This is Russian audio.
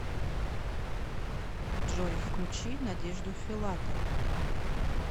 джой включи надежду филатову